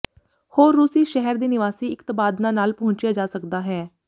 ਹੋਰ ਰੂਸੀ ਸ਼ਹਿਰ ਦੇ ਨਿਵਾਸੀ ਇੱਕ ਤਬਾਦਲਾ ਨਾਲ ਪਹੁੰਚਿਆ ਜਾ ਸਕਦਾ ਹੈ